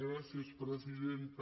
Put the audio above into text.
gràcies presidenta